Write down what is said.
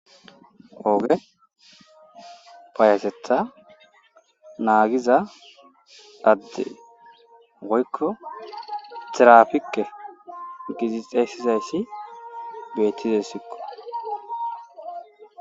ooge fayatetha naagiza addey woykko tirapike gizixeesizayssi beettizessikko